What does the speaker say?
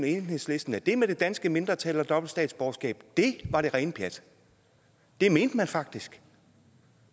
enhedslisten at det med det danske mindretal og dobbelt statsborgerskab var det rene pjat det mente man faktisk